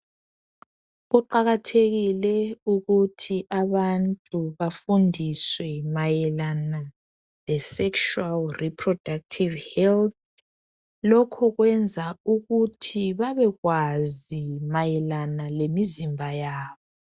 Kuqakathekile ukuthi abantu bafundiswe mayelana lesexual reproductive health lokhu kwenza ukuthi babekwazi mayelana lemizimba yabo.